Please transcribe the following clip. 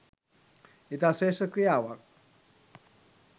ඉතා ශ්‍රේෂ්ඨ ක්‍රියාවක්.